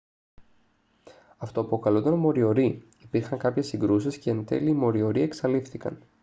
αυτοαποκαλούνταν μοριορί υπήρχαν κάποιες συγκρούσεις και εντέλει οι μοριορί εξαλείφθηκαν